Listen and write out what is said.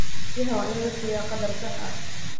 Biyaha waa in la siiyaa qadar sax ah.